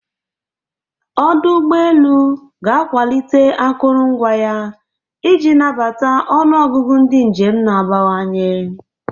Ọdụ ụgbọ elu ga-akwalite akụrụngwa ya iji nabata ọnụ ọgụgụ ndị njem na-abawanye.